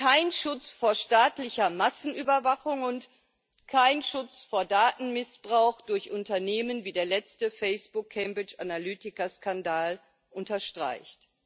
kein Schutz vor staatlicher Massenüberwachung und kein Schutz vor Datenmissbrauch durch Unternehmen, wie der letzte Facebook Cambridge Analytica Skandal unterstreicht.